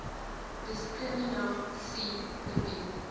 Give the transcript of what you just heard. diskrimina sie verbied